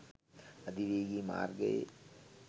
අධි වේගී මාර්ගයේ